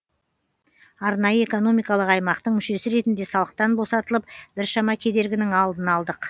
арнайы экономикалық аймақтың мүшесі ретінде салықтан босатылып біршама кедергінің алдын алдық